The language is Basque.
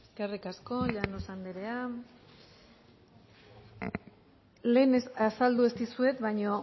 eskerrik asko llanos andrea lehen azaldu ez dizuet baino